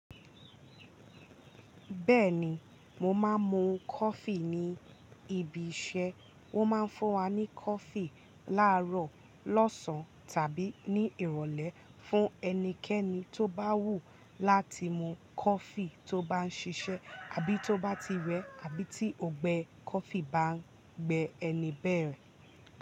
Bẹ́ẹ̀ni, mo máa ń mu coffee ní ibi iṣẹ́. Wọ́n máa ń fún wa ní coffee láàárọ̀, lọ́sàn-án tàbí ní ìrọ̀lẹ́ fún ẹnikẹ́ni tó bá wù láti mu coffee tó bá ń ṣiṣẹ́ àbí tó bá ti rẹ àbí tí ọungbẹ́ coffee bá gbe ẹni bẹ́ẹ̀.